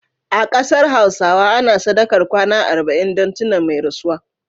A kasar Hausawa ana sadakar kwana arba'in dun tuna da mai rasuwa